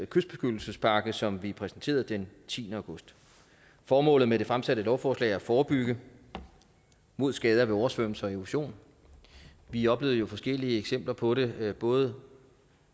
kystbeskyttelsespakke som vi præsenterede den tiende august formålet med det fremsatte lovforslag er at forebygge mod skader ved oversvømmelser og erosion vi oplevede jo forskellige eksempler på det både